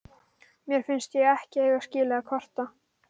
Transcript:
Mér finnst ég ekki eiga skilið að kvarta.